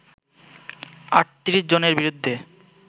৩৮ জনের বিরুদ্ধে